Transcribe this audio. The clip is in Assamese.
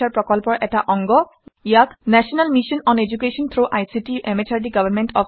ইয়াক national mission on education through ICT MHRD government of India ই পৃষ্ঠপোষকতা আগবঢ়াইছে